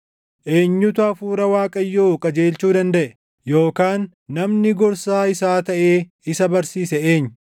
Eenyutu Hafuura Waaqayyoo qajeelchuu dandaʼe? Yookaan namni gorsaa isaa taʼee isa barsiise eenyu?